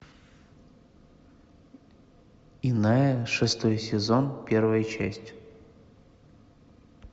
иная шестой сезон первая часть